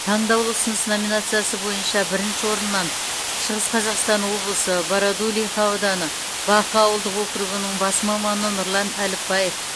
таңдаулы ұсыныс номинациясы бойынша бірінші орыннан шығыс қазақстан облысы бородулиха ауданы бақы ауылдық округінің бас маманы нұрлан әліпбаев